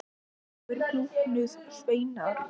Þá glúpnuðu sveinarnir.